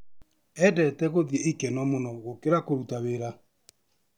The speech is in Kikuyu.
Endete gũthi ikeno mũno gũkĩra kũruta wĩra.